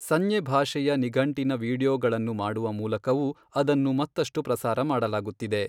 ಸಂಜ್ಞೆ ಭಾಷೆಯ ನಿಘಂಟಿನ ವೀಡಿಯೋಗಳನ್ನು ಮಾಡುವ ಮೂಲಕವೂ ಅದನ್ನು ಮತ್ತಷ್ಟು ಪ್ರಸಾರ ಮಾಡಲಾಗುತ್ತಿದೆ.